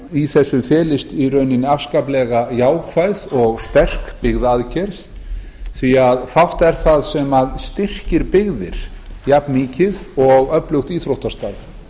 í þessu felist afskaplega jákvæð og sterk byggðaaðgerð því fátt er það sem styrkir byggðir jafnmikið og öflugt íþróttastarf